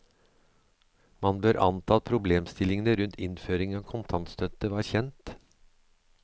Man bør anta at problemstillingene rundt innføring av kontantstøtte var kjent.